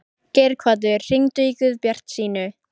Geirhvatur, hringdu í Guðbjartsínu.